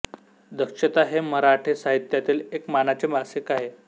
दक्षता हे मराठी साहित्यातील एक मानाचे मासिक आहे